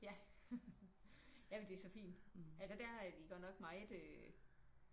Ja ja men det er så fint. Altså der er de godt nok meget øh